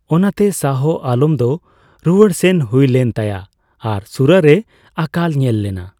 ᱚᱱᱟᱛᱮ, ᱥᱟᱦᱚ ᱟᱞᱚᱢ ᱫᱚ ᱨᱩᱣᱟᱹᱲ ᱥᱮᱱ ᱦᱩᱭᱞᱮᱱ ᱛᱟᱭᱟ ᱟᱨ ᱥᱩᱨᱟ ᱨᱮ ᱟᱠᱟᱞ ᱧᱮᱞ ᱞᱮᱱᱟ ᱾